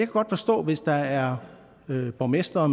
godt forstå hvis der er borgmestre og